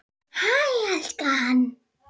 Hæ elskan!